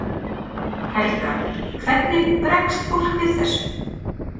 Helga: Hvernig bregst fólk við þessu?